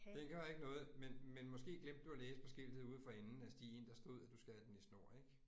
Den gør ikke noget, men men måske glemte du at læse på skiltet ude for enden af stien, der stod, at du skal have den i snor ik?